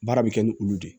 Baara bɛ kɛ ni olu de